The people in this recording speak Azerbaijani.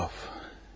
Nətavaf?